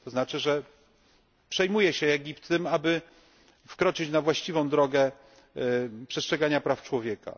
To znaczy, że Egipt przejmuje się tym, aby wkroczyć na właściwą drogę przestrzegania praw człowieka.